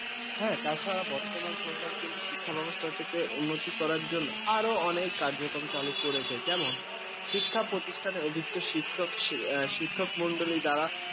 হ্যাঁ তাছাড়া বর্তমান সরকার কিন্তু শিক্ষা ব্যবস্থাটা উন্নতি করার জন্য আরো অনেক কার্যক্রম চালু করেছে যেমন শিক্ষা প্রতিষ্ঠানে অভিজ্ঞ শিক্ষক মন্ডলের দ্বারা